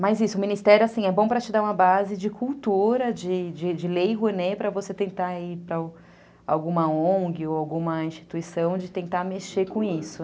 Mas isso, o Ministério assim é bom para te dar uma base de cultura, de de lei, para você tentar ir para alguma on gue ou alguma instituição de tentar mexer com isso.